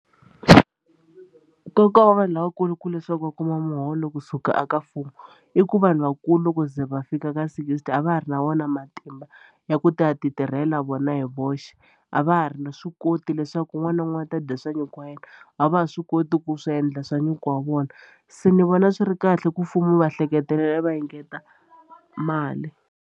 Nkoka wa vanhu lavakulu i ku leswaku va kuma muholo kusuka eka mfumo i ku vanhu vakulu loko ze va fika ka sixty a va ha ri na wona matimba ya ku ti ya ti tirhela vona hi voxe xi a va ha ri na swi koti leswaku un'wana na un'wana ta dya swa nyuku wa yena a va ha swi koti ku swi endla swa nyuku wa vona se ni vona swi ri kahle ku mfumo va hleketelela va engeta mali.